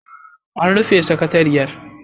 An rufe sakatariyar.